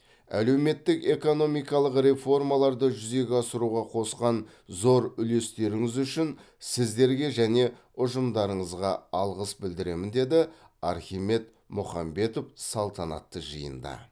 әлеуметтік экономикалық реформаларды жүзеге асыруға қосқан зор үлестеріңіз үшін сіздерге және ұжымдарыңызға алғыс білдіремін деді архимед мұхамбетов салтанатты жиында